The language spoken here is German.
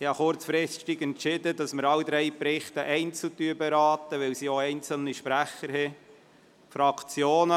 Ich habe kurzfristig entschieden, dass wir alle drei Berichte einzeln beraten, da es auch einzelne Sprecher zu diesen hat.